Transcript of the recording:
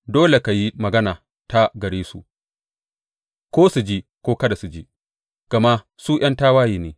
Dole ka yi maganata gare su, ko su ji ko kada su ji, gama su ’yan tawaye ne.